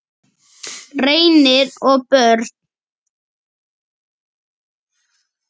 Reynir og börn.